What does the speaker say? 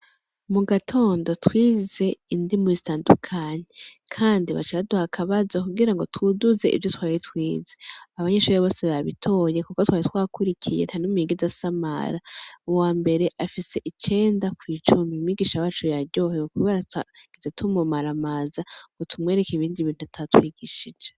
Mu gatondo twize indimi zitandukanye. Kandi baciye baduha akabazo kugira ngo twiduze ivyo twari twize. Kandi abanyeshure bose babitoye kuko twari twakurikiye, nta n'umwe yigeze asamara. Uwambere afise icenda kw'icumi. Umwigisha wacu yaryohewe kubera tutigeze tumumaramza ngo tumwereke ibindi bintu atatwigishije